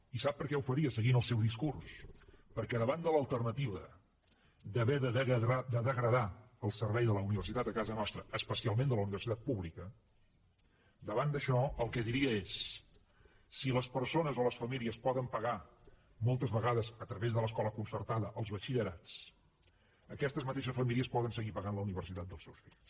i sap per què ho faria seguint el seu discurs perquè davant de l’alternativa d’haver de degradar el servei de la universitat a casa nostra especialment de la universitat pública davant d’això el que diria és si les persones o les famílies poden pagar moltes vegades a través de l’escola concertada els batxillerats aquestes mateixes famílies poden seguir pagant la universitat dels seus fills